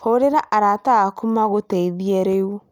Hũrĩra arata aku magũteithie rĩu